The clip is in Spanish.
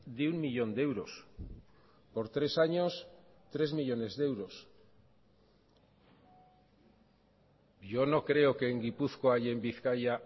de un millón de euros por tres años tres millónes millónes de euros yo no creo que en gipuzkoa y en bizkaia